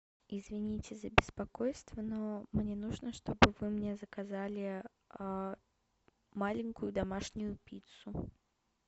извините за беспокойство но мне нужно чтобы вы мне заказали маленькую домашнюю пиццу